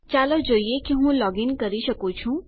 ચાલો જોઈએ હું લોગીન કરી શકું છું